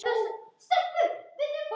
Hvaða máli skiptir það?